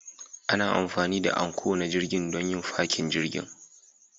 Ana amfani da Anchor na jirgin don yin fakin jirgin